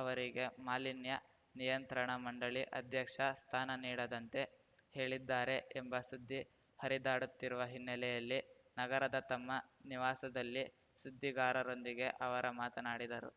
ಅವರಿಗೆ ಮಾಲಿನ್ಯ ನಿಯಂತ್ರಣ ಮಂಡಳಿ ಅಧ್ಯಕ್ಷ ಸ್ಥಾನ ನೀಡದಂತೆ ಹೇಳಿದ್ದಾರೆ ಎಂಬ ಸುದ್ದಿ ಹರಿದಾಡುತ್ತಿರುವ ಹಿನ್ನೆಲೆಯಲ್ಲಿ ನಗರದ ತಮ್ಮ ನಿವಾಸದಲ್ಲಿ ಸುದ್ದಿಗಾರರೊಂದಿಗೆ ಅವರ ಮಾತನಾಡಿದರು